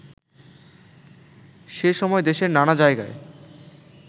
সে সময় দেশের নানা জায়গায়